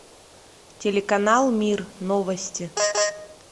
телеканал мир новости